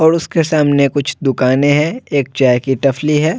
और उसके सामने कुछ दुकानें हैं एक चाय की टफली है।